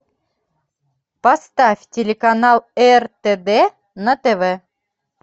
поставь телеканал ртд на тв